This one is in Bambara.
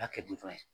N y'a kɛ ye